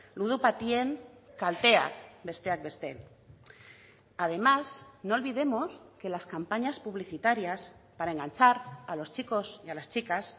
ludopatien kalteak besteak beste además no olvidemos que las campañas publicitarias para enganchar a los chicos y a las chicas